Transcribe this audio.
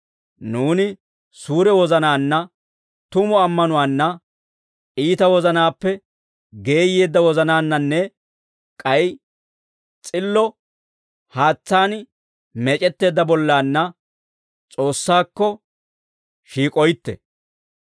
Nuuni suure wozanaanna, tumu ammanuwaanna, iita wozanaappe geeyyeedda wozanaannanne k'ay s'illo haatsaan meec'etteedda bollaanna S'oossaakko shiik'oytte.